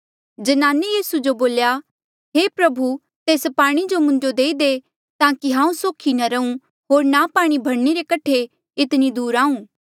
ज्नाने यीसू जो बोल्या हे प्रभु तेस पाणी जो मुंजो देई दे ताकि हांऊँ सोखी नी रहूँ होर ना पाणी भरणे रे कठे इतनी दूर आऊँ